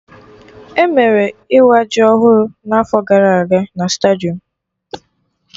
Emere Ịwa jiri ọhụrụ na'afọ gara aga na stadium